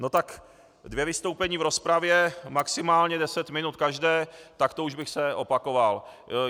No tak dvě vystoupení v rozpravě maximálně deset minut každé, tak to už bych se opakoval.